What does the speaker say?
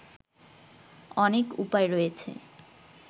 অনেক উপায় রয়েছে